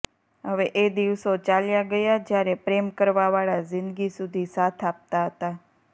હવે એ દિવસો ચાલ્યા ગયા જયારે પ્રેમ કરવાવાળા ઝીંદગી સુધી સાથ આપતા હતા